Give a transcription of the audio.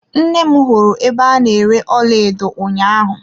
Nne m hụrụ ebe a na-ere ọlaedo ụnyaahụ.